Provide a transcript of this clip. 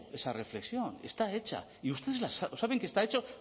esa reflexión está hecha y ustedes saben que está hecho